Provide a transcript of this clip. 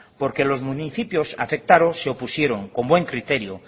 porque los municipios afectados se opusieron con buen criterio